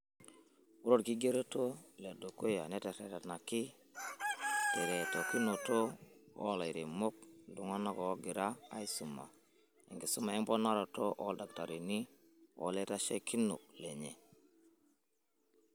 Ore orkigeroto ledukuya neteretanaki teretokinoto olairemok, iltung'ana ogira aisuma enkisuma emponaroto oldakitarini oo laitasheikinok lenye.